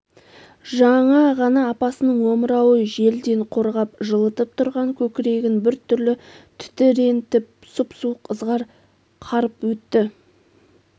жаңа ғана апасының омырауы желден қорғап жылытып тұрған көкірегін бір түрлі тітірентіп сұп-суық ызғар қарып өтті